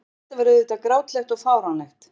En þetta var auðvitað grátlegt og fáránlegt.